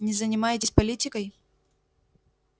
не занимаетесь политикой